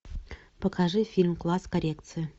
покажи фильм класс коррекции